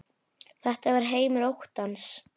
Þetta var heimur óttans.